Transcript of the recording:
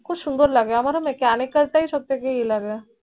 খুব সুন্দর লাগে আমার Mchanical তাই সব এয়ে লাগে